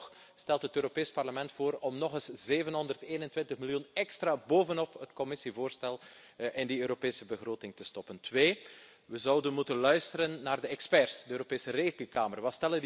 Toch stelt het Europees Parlement voor om nog eens 721 miljoen extra bovenop het Commissievoorstel in die Europese begroting te stoppen. In de tweede plaats zouden we moeten luisteren naar de experts, de Europese Rekenkamer.